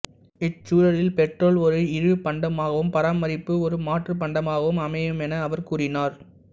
இச்சூழலில் petrol ஒரு இழிவுப் பண்டமாகவும் பராமரிப்பு ஒரு மாற்றுப் பண்டமாகவும் அமையுமென அவர் கூறினார்